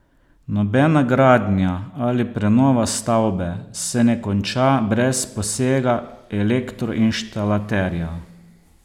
Nobena gradnja ali prenova stavbe se ne konča brez posega elektroinštalaterja.